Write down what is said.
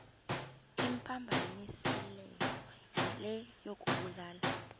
imphambanisileyo yile yokubulala